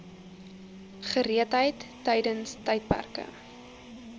gereedheid tydens tydperke